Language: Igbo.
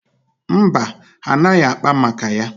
Mba, ha anaghị akpa maka ya?